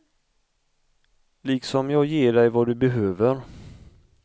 Liksom jag ger dig vad du behöver.